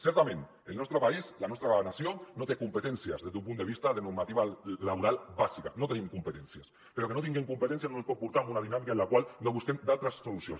certament el nostre país la nostra nació no té competències des d’un punt de vista de normativa laboral bàsica no tenim competències però que no tinguem competències no ens pot portar a una dinàmica en la qual no busquem d’altres solucions